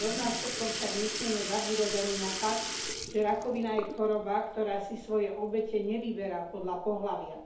Rovnako však nesmieme zabúdať ani na fakt, že rakovina je choroba, ktorá si svoje obete nevyberá podľa pohlavia.